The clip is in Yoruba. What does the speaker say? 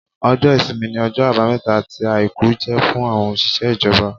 Ọjọ́ ìsinmi ni ọjọ́ àbámẹ́ta àti àìkú jẹ́ fún àwọn òṣìṣẹ́ ìjọba